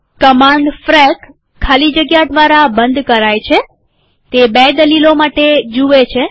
command ફ્રેક ખાલી જગ્યા દ્વારા બંધ કરાય છેતે બે દલીલો માટે જુએ છે